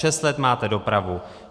Šest let máte dopravu.